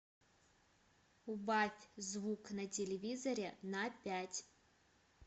убавь звук на телевизоре на пять